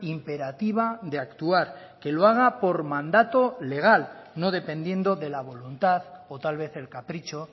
imperativa de actuar que lo haga por mandato legal no dependiendo de la voluntad o tal vez el capricho